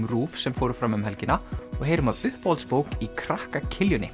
RÚV sem fóru fram um helgina og heyrum af uppáhaldsbók í krakka